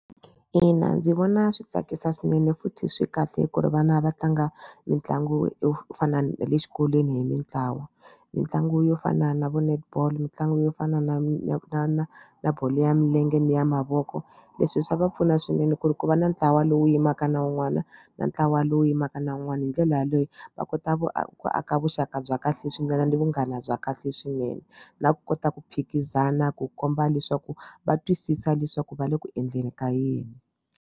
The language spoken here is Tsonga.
Ina ndzi vona swi tsakisa swinene futhi swi kahle ku ri vana va tlanga mitlangu yo fana na le xikolweni hi mitlawa mitlangu yo fana na vo netball mitlangu yo fana na na na na na bolo ya milenge ni ya mavoko. Leswi swa va pfuna swinene ku ri ku va na ntlawa lowu yimaka na wun'wana na ntlawa lowu yimaka na wun'wana hi ndlela yaleyo va kota ku ku aka vuxaka bya kahle swinene ni vunghana bya kahle swinene na ku kota ku phikizana ku komba leswaku va twisisa leswaku va le ku endleni ka yini.